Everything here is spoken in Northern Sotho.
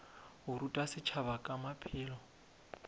go ruta setšhaba ka maphelo